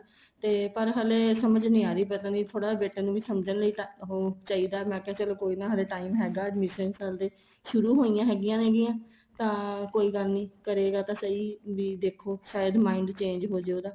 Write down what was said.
ਤੇ ਪਰ ਹਲੇ ਸਮਝ ਨਹੀਂ ਆ ਰਹੀ ਪਤਾ ਨਹੀਂ ਥੋੜਾ ਜਾ ਬੇਟੇ ਨੂੰ ਵੀ ਸਮਝਣ ਉਹ ਚਾਹੀਦਾ ਮੈਂ ਕਿਹਾ ਚਲੋਂ ਕੋਈ ਨਾ ਹਲੇ time ਹੈਗਾ admission ਕਰਾਦੇ ਸ਼ੁਰੂ ਹੋਇਆ ਹੈਗੀਆਂ ਨੇਗਈਆਂ ਤਾਂ ਕੋਈ ਗੱਲ ਨਹੀਂ ਕਰੇਗਾ ਤਾਂ ਸਈ ਵੀ ਦੇਖੋ ਸਾਇਦ mind change ਹੋ ਜ਼ੇ ਉਹਦਾ